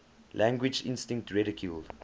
language instinct ridiculed